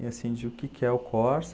E assim, de o que que é o Corsa?